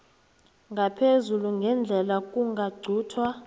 ngaphezulu ngendlela kungaquntwa